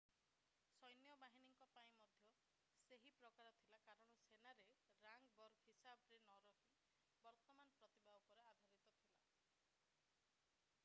ସୈନ୍ୟବାହିନୀ ପାଇଁ ମଧ୍ୟ ସେହି ପ୍ରକାର ଥିଲା କାରଣ ସେନା ରେ ରାଙ୍କ ବର୍ଗ ହିସାବରେ ନ ହୋଇ ବର୍ତ୍ତମାନ ପ୍ରତିଭା ଉପରେ ଆଧାରିତ ଥିଲା